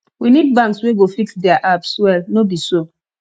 we need banks wey go fix diir apps well no be so